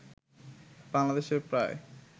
বাংলাদেশের প্রায়